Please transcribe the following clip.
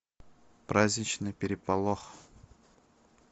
праздничный переполох